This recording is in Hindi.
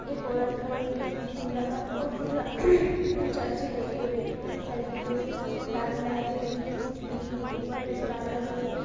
एक औरत खड़ी हुई हैं छतरी लगाए और पूरा चर्च डेकोरेट है सर्किटो से कुछ लाल लाइटें लागी है कुछ ग्रीन ऊपर स्टार लगे हुए ।